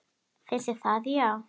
Finnst þér það já.